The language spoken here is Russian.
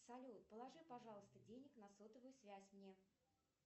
салют положи пожалуйста денег на сотовую связь мне